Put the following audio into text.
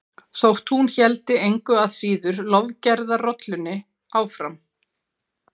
Þótt hún héldi engu að síður lofgerðarrollunni áfram.